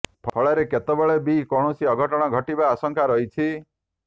ଫଳରେ କେତେବେଳେ ବି କୌଣସି ଅଘଟଣ ଘଟିବା ଆଶଂକା ରହିଛି